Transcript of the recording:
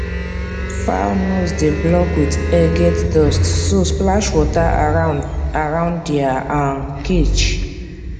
fowl nose dey block with air get dust so splash water around around dia um cage